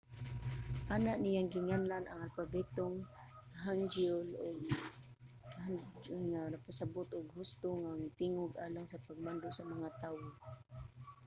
una niyang ginganlan ang alpabetong hangeul og hunmin jeongeum nga nagpasabut og husto nga mga tingog alang sa pagmando sa mga tawo